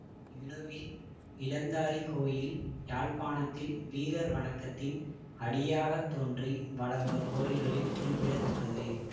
இணுவில் இளந்தாரி கோயில் யாழ்ப்பாணத்தில் வீரர் வணக்கத்தின் அடியாகத் தோன்றி வளர்ந்த கோயில்களில் குறிப்பிட தக்கது